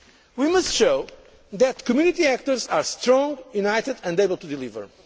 jointly. We must show that the Community actors are strong, united and able to